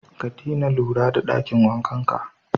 Ka dina lura da ɗakin wankanka